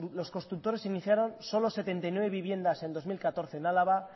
los constructores iniciaron solo setenta y nueve viviendas en dos mil catorce en álava